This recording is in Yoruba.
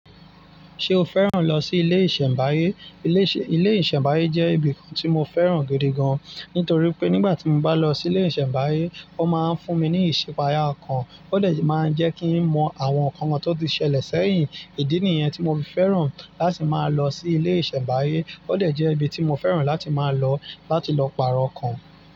Ṣé o fẹ́ràn lọ sí ilé ìṣẹ̀mbáyé? Ilé ìṣẹ̀mbáyé jẹ́ ibìkan tí mo fẹ́ràn gidi gan, nítorí pé nígbà tí mo bá lọ sí ilé ìṣẹ̀mbáyé, o máa ń fún mi ní ìṣipaya ọkàn. Ó dẹ si máa ń jẹ́ kí n mọ àwọn nǹkan tó ti ṣẹlẹ̀ sẹ́yìn. Ìdí nìyẹn tí mo fi fẹ́ràn láti máa lọ sí ilé ìṣẹ̀mbáyé. Ó dẹ jẹ́ ibi tí mo fẹ́ràn láti máa lọ, láti lọ pààrọ̀ ọkàn.